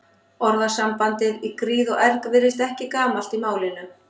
Orðasambandið í gríð og erg virðist ekki gamalt í málinu.